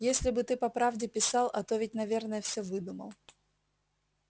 если бы ты по правде писал а то ведь наверное всё выдумал